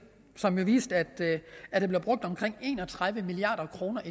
som viste at der blev brugt omkring en og tredive milliard kroner